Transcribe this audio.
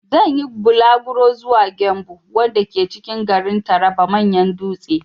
Na yi bulaguro zuwa 'Gembu' wanda ke cikin garin Taraba manyan dutse.